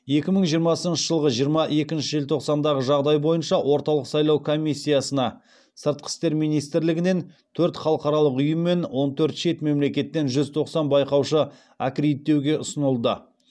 екі мың жиырмасыншы жылғы жиырма екінші желтоқсандағы жағдай бойынша орталық сайлау комиссиясына сыртқы істер министрлігінен төрт халықаралық ұйым мен он төрт шет мемлекеттен жүз тоқсан байқаушы аккредиттеуге ұсынылды